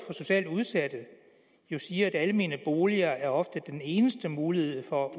socialt udsatte jo siger at almene boliger ofte er den eneste mulighed for